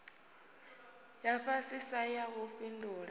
ya fhasisa ya u fhindula